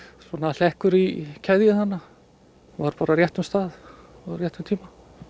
hlekkur í keðju þarna var bara á réttum stað á réttum tíma